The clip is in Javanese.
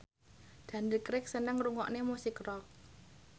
Daniel Craig seneng ngrungokne musik rock